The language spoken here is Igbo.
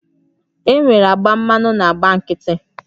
Enwere agba mmanụ na agba nkịtị